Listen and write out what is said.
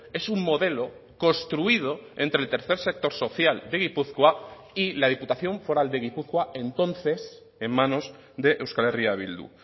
es un modelo construido entre el tercer sector social de gipuzkoa y la diputación foral de gipuzkoa entonces en manos de euskal herria bildu